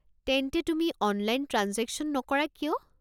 তেন্তে, তুমি online transaction নকৰা কিয়?